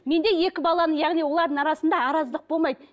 мен де екі баланың яғни олардың арасында араздық болмайды